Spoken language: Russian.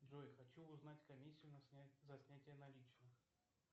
джой хочу узнать комиссию за снятие наличных